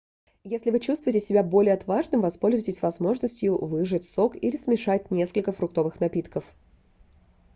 если вы чувствуете себя более отважным воспользуйтесь возможностью выжать сок или смешать несколько фруктовых напитков